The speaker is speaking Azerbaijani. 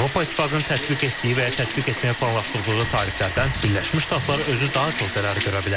Avropa İttifaqının tətbiq etdiyi və ya tətbiq etməyi planlaşdırdığı tariflərdən Birləşmiş Ştatlar özü daha çox zərər görə bilər.